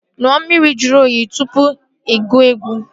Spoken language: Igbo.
Ṅụọ mmiri juru oyi tụpụ ị gụọ egwu